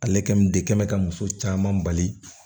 Ale kɛli de kɛ mɛ ka muso caman bali